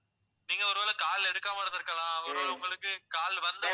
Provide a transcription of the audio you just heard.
நீங்க ஒருவேளை call எடுக்காம இருந்திருக்கலாம். அவங்க ஒருவேளை உங்களுக்கு call வந்த உடனே